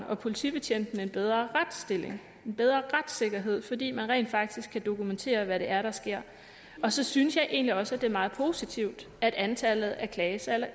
og politibetjentene en bedre retsstilling en bedre retssikkerhed fordi man rent faktisk kan dokumentere hvad det er der sker og så synes jeg egentlig også at det er meget positivt at antallet af klagesager